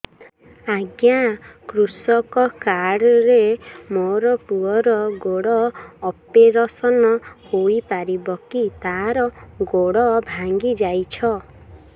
ଅଜ୍ଞା କୃଷକ କାର୍ଡ ରେ ମୋର ପୁଅର ଗୋଡ ଅପେରସନ ହୋଇପାରିବ କି ତାର ଗୋଡ ଭାଙ୍ଗି ଯାଇଛ